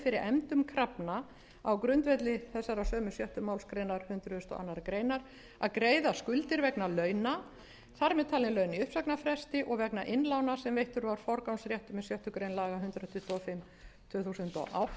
fyrir efndum krafna á grundvelli sjöttu málsgrein hundrað og aðra grein að greiða skuldir vegna launa þar með talin laun í uppsagnarfresti og vegna innlána sem veittur var forgangsréttur með sjöttu grein laga númer hundrað tuttugu og fimm tvö þúsund og